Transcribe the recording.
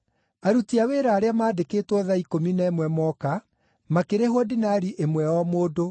“Aruti a wĩra arĩa maandĩkĩtwo thaa ikũmi na ĩmwe moka, makĩrĩhwo dinari ĩmwe o mũndũ.